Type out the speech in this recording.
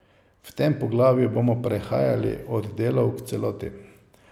V tem poglavju bomo prehajali od delov k celoti.